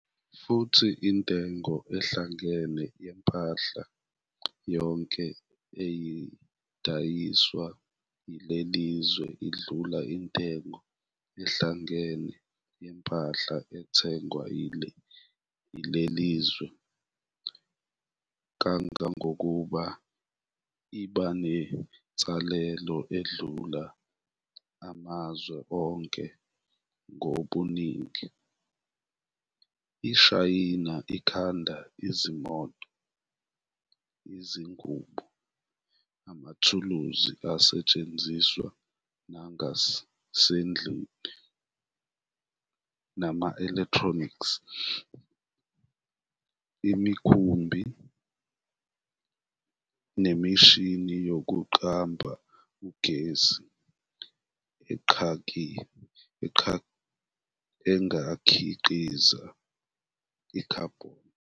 Futhi intengo ehlangene yempahla yonke eyidayiswa yilelizwe indlula intengo ehlangene yempahla ethengwa yilelizwe kangangokuthi ibenensalela endlula amazwe onke ngobuningi. IShayina ikhanda izimoto, izingubo, amathuluzi asetshenziswa nangasendlini, nama-electronics, imikhumbi, nemishini yokuqamba ugesi engakhiqizi i-"Carbon".